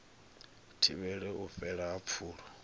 thivhele u fhela ha pfulo